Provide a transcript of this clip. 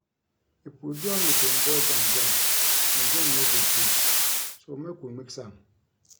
If we do am between boys and girls the game no go sweet so make we mix am.